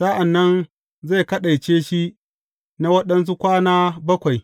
Sa’an nan zai kaɗaice shi na waɗansu kwana bakwai.